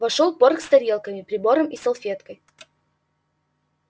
вошёл порк с тарелками прибором и салфеткой